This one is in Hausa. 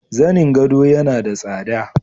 Zanin gado yana da tsada.